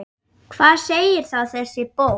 Hvað segir þá þessi bók?